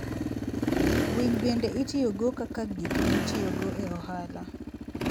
Winy bende itiyogo kaka gik mitiyogo e ohala.